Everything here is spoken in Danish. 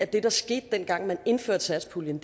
der skete dengang man indførte satspuljen